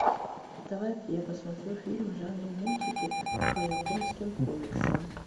давай я посмотрю фильм в жанре мультики по японским комиксам